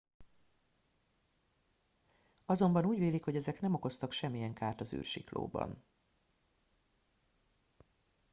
azonban úgy vélik hogy ezek nem okoztak semmilyen kárt az űrsiklóban